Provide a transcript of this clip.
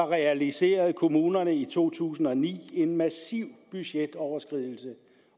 realiserede kommunerne i to tusind og ni en massiv budgetoverskridelse